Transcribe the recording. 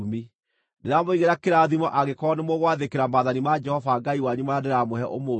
ndĩramũigĩra kĩrathimo angĩkorwo nĩmũgwathĩkĩra maathani ma Jehova Ngai wanyu marĩa ndĩramũhe ũmũthĩ;